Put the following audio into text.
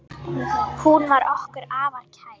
Hún var okkur afar kær.